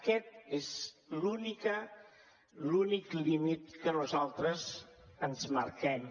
aquest és l’únic límit que nosaltres ens marquem